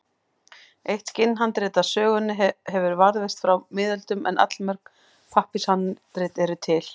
Eitt skinnhandrit af sögunni hefur varðveist frá miðöldum en allmörg pappírshandrit eru til.